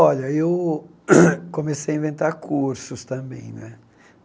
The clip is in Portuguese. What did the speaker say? Olha, eu comecei a inventar cursos também né.